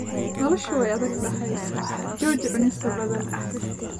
Noloshu waa adag tahay, jooji cunista badan